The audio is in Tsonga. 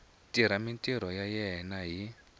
tirha mintirho ya yena hi